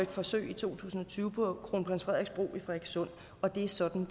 forsøg i to tusind og tyve på kronprins frederikssund og det er sådan